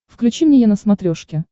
включи мне е на смотрешке